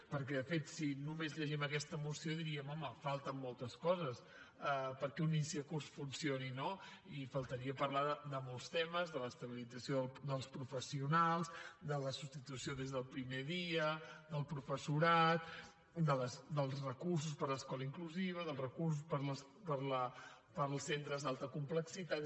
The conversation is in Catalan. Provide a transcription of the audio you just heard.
perquè de fet si només llegim aquesta moció diríem home falten moltes coses perquè un inici de curs funcioni no i faltaria parlar de molts temes de l’estabilització dels professionals de la substitució des del primer dia del professorat dels recursos per a l’escola inclusiva del recurs per als centres d’alta complexitat